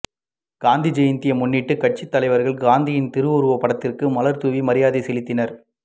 காந்தி ஜெயந்தியை முன்னிட்டு கட்சி தலைவர்கள் காந்தியின் திருவுருவப்படத்திற்கு மலர் தூவி மரியாதை செலுத்தினர்